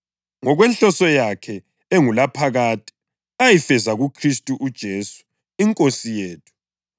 ngokwenhloso yakhe engulaphakade ayifeza kuKhristu uJesu iNkosi yethu.